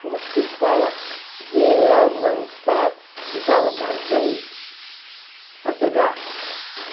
Como é que se fala de avançar nos armazéns? Saquear